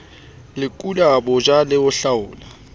lekola botjha le ho hlaola